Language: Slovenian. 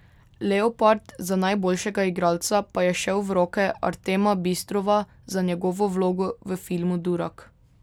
Leopard za najboljšega igralca pa je šel v roke Artema Bistrova za njegovo vlogo v filmu Durak.